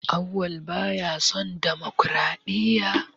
Auwal baya son damakwaraɗiyya.